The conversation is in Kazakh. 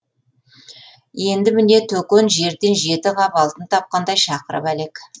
енді міне төкен жерден жеті қап алтын тапқандай шақырып әлек